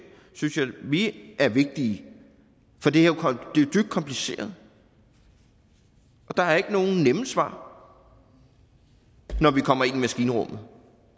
synes vi er vigtige for det er dybt kompliceret og der er ikke nogen nemme svar når vi kommer ind i maskinrummet